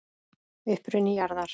Uppruni jarðar